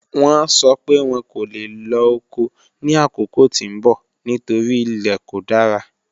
Wọ́n sọ́ pé wọ́n kò le lọ́ ọkọ̀ ni akókò tí n bọ̀ nítorí ilẹ̀ kò dára.